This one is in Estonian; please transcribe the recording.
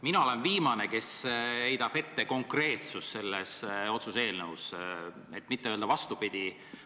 Mina olen viimane, kes heidab ette konkreetsust selles otsuse eelnõus, et mitte öelda vastupidi.